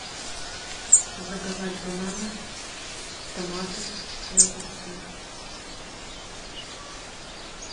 заказать бананы томаты и огурцы